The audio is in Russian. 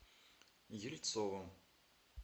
ельцовым